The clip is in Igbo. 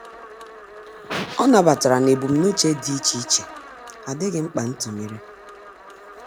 Ọ́ nàbàtàrà na ebumnuche dị́ iche iche ádị́ghị́ mkpa ntụnyere.